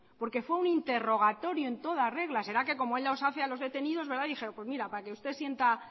porque fue un interrogatoria en toda regla será que como él los hace a los detenidos verdad dijeron pues mira para que usted sienta